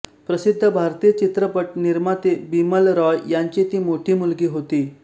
प्रसिद्ध भारतीय चित्रपट निर्माते बिमल रॉय यांची ती मोठी मुलगी होती